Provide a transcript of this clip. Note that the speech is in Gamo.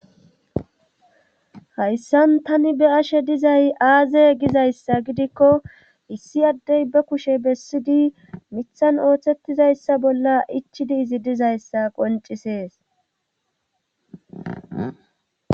Hayssan tani be ashe dizay aaze gizayssa gidikko issi addey be kushe bessidi mithan ooththettizayssa bolla ichidi izi dizayssa qoncisees.